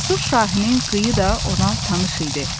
Cəsur Şahinin qıyı da ona tanış idi.